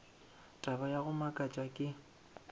taba ya go makatša ke